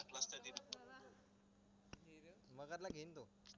मगर ला घेईल तो